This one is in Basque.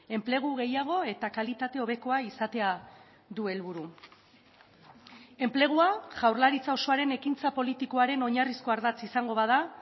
enplegu gehiago eta kalitate hobekoa izatea du helburu enplegua jaurlaritza osoaren ekintza politikoaren oinarrizko ardatz izango bada